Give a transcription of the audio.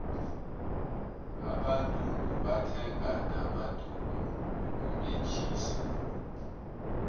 abantungu bathenga namadulu wokumetjhisa